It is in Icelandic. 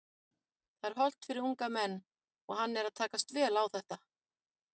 Það er hollt fyrir unga menn og hann er að takast vel á þetta.